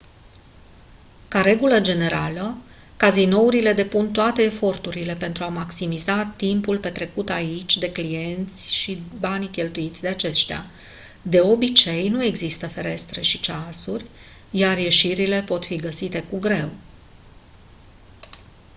ca regulă generală cazinourile depun toate eforturile pentru a maximiza timpul petrecut aici de clienți și banii cheltuiți de aceștia de obicei nu există ferestre și ceasuri iar ieșirile pot fi găsite cu greu